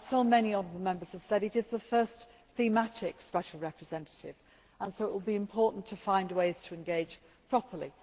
As so many honourable Members have said, this is the first thematic Special Representative, and so it will be important to find ways to engage properly.